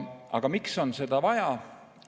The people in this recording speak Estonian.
Aga miks on seda vaja?